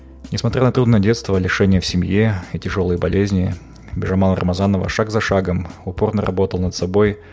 не смотря на трудные детство лишение в семье и тяжелой болезни бижамал рамазанова шаг за шагом упорно работала над собой